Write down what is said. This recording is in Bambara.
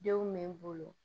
Denw bɛ n bolo